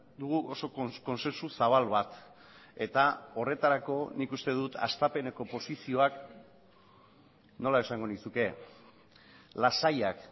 dugu oso kontsensu zabal bat eta horretarako nik uste dut hastapeneko posizioak nola esango nizuke lasaiak